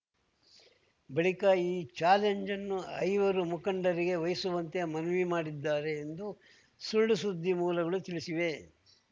ಬಳಿಕ ಈ ಚಾಲೆಂಜ್‌ ಅನ್ನು ಐವರು ಮುಖಂಡರಿಗೆ ವಹಿಸುವಂತೆ ಮನವಿ ಮಾಡಿದ್ದಾರೆ ಎಂದು ಸುಳ್ಳುಸುದ್ದಿ ಮೂಲಗಳು ತಿಳಿಸಿವೆ